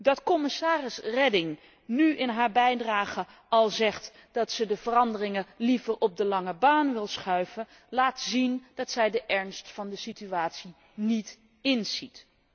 Dat commissaris Reding nu in haar bijdrage al zegt dat zij de veranderingen liever op de lange baan wil schuiven, laat zien dat zij de ernst van de situatie niet inziet.